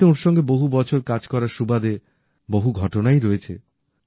এমনিতে ওঁর সঙ্গে বহু বছর কাজ করার সুবাদে বহু ঘটনাই রয়েছে